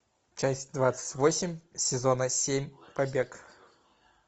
часть двадцать восемь сезона семь побег